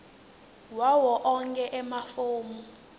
wawo onkhe emafomu